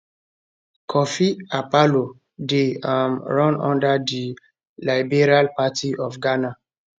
kofi akpaloo dey um run under di liberal party of ghana